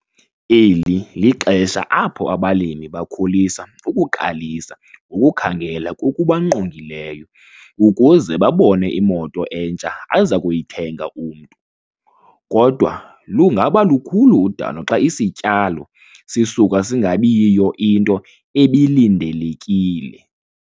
Eli lixesha apho abalimi bakholisa ukuqalisa ngokukhangela kokubangqongileyo ukuze babone imoto entsha aza kuyithenga umntu, kodwa lungaba lukhulu udano xa isityalo sisuka singabi yiyo into ebilindelekile.